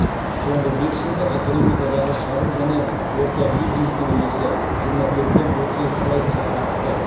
соңғы бес жылда экономикадағы шағын және орта бизнестің үлесі жиырма төрттен отыз екі пайызға артты